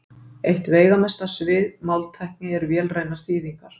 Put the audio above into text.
Eitt veigamesta svið máltækni eru vélrænar þýðingar.